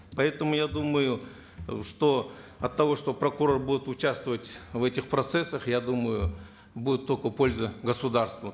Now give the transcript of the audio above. поэтому я думаю э что от того что прокурор будет участвовать в этих процессах я думаю будет только польза государству